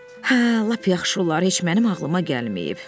Hə, lap yaxşı olar, heç mənim ağlıma gəlməyib.